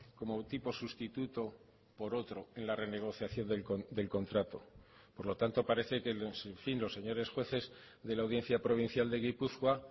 como tipo sustituto por otro en la renegociación del contrato por lo tanto parece que en fin los señores jueces de la audiencia provincial de gipuzkoa